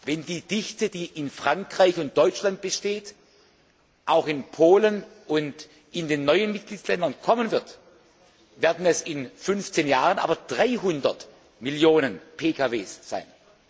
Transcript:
Wenn die Dichte, die in Frankreich und in Deutschland besteht, auch in Polen und in den neuen Mitgliedsländern kommen wird, werden es in 15 Jahren 300 Millionen PKW sein.